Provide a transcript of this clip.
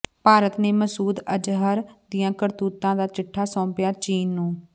ਭਾਰਤ ਨੇ ਮਸੂਦ ਅਜ਼ਹਰ ਦੀਆਂ ਕਰਤੂਤਾਂ ਦਾ ਚਿੱਠਾ ਸੌਂਪਿਆ ਚੀਨ ਨੂੰ